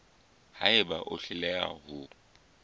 ha eba o hloleha ho